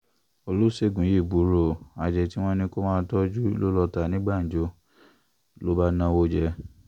oloṣegun yii buru o, adiyẹ ti wọn ni ko maa toju lo lọ ta ni gbanjo, lo ba nawo jẹ